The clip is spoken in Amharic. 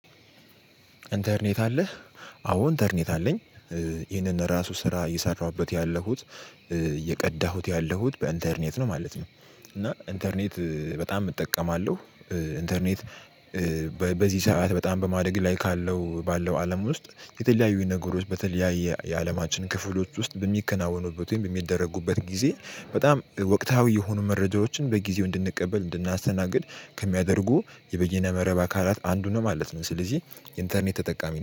ኢንተርኔት አለህ? አዎ ኢንተርኔት አለኝ ይህንን ራሱ ስራ እየሰራሁበት ያለሁት እየቀዳሁት ያለሁት በኢንተርኔት ነው ማለት ነው። እና ኢንተርኔት በጣም እጠቀማለሁ ኢንተርኔት በዚህ ሰዓት በጣም በማደግ ላይ ካለው ባለው አለም ውስጥ የተለያዩኝ ነገሮች በተለያየ የአለማችን ክፍሎች ውስጥ በሚከናወኑበት ወይም በሚደረጉበት ጊዜ በጣም ወቅታዊ የሆኑ መረጃዎችን በጊዜው እንድንቀበል እንድናስተናግድ ከሚያደርጉ የበየነ መረብ አካላት አንዱ ነው ማለት ነው ስለዚህ የኢንተርኔት ተጠቃሚ ነኝ።